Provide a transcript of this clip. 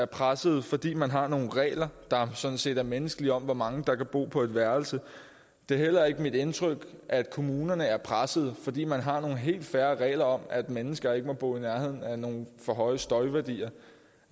pressede fordi man har nogle regler der sådan set er menneskelige om hvor mange der kan bo på et værelse det er heller ikke mit indtryk at kommunerne er pressede fordi man har nogle helt fair regler om at mennesker ikke må bo i nærheden af nogle ting for høje støjværdier